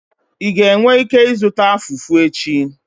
Ị ga-enwe ike ịzụta Fufu echi?